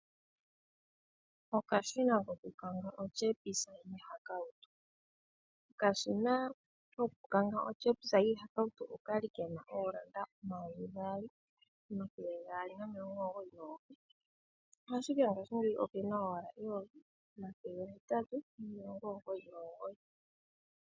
Okashina koku kanga otyepisa yiihakawutu. Okashina koku kanga otyepisa yiihakautu okali kena oondola omayovi gaali, omathele gaali nomilongo omugoyi nomugoyi ashike ngaashingeyi okena owala eyovi, omathele gahetatu nomilongo omugoyi nomugoyi.